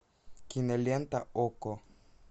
кинолента окко